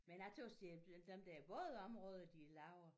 Men jeg tøs det er blevet dem der bådområde de laver